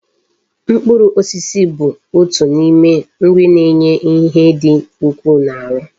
Mkpụrụ osisi bụ otu na ime nri na enye ihe di ukwu na aru